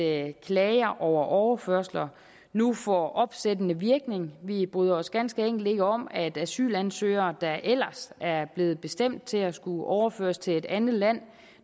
at klager over overførsler nu får opsættende virkning vi bryder os ganske enkelt ikke om at asylansøgere der ellers er blevet bestemt til at skulle overføres til et andet land